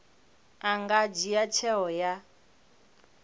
a nga dzhia tsheo ya